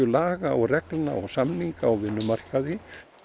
laga reglna og samninga á vinnumarkaði